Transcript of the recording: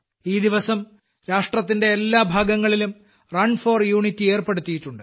ഈ ദിവസം രാഷ്ട്രത്തിന്റെ എല്ലാ ഭാഗങ്ങളിലും റണ് ഫോർ ഉന്റിയ് സംഘടിപ്പിച്ചിട്ടുണ്ട്